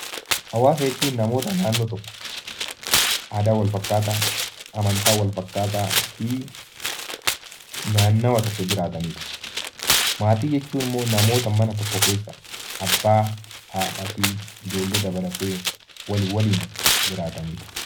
Hawaasa jechuun namoota naannoo tokko aadaa walfakkaataa, amantaa walfakkaataa fi naannawa tokko jiraatanidha. Maatii jechuun immoo namoota mana tokko keessa abbaa, haadhaa fi ijoollee dabalatee namoota walii waliin jiraatanidha.